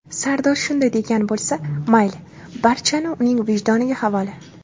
Sardor shunday degan bo‘lsa, mayli, barchani uning vijdoniga havola.